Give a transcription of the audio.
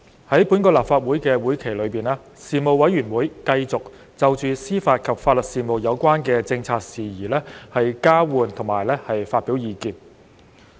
在本立法會會期內，事務委員會繼續就司法及法律事務有關的政策事宜交換及發表意見。